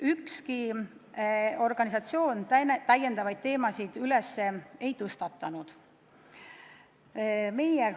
Ükski organisatsioon täiendavaid teemasid üles ei tõstnud.